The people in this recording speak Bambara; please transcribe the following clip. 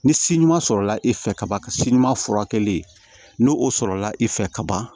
Ni si ɲuman sɔrɔla e fɛ ka ban ka si ɲuman furakɛli no o sɔrɔla e fɛ ka ban